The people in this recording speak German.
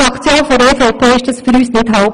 Die EVP-Fraktion erachtet das als nicht haltbar.